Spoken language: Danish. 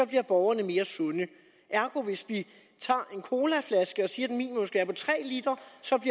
bliver borgerne mere sunde ergo hvis vi tager en colaflaske og siger